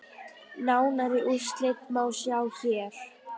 Nánari úrslit má sjá hér.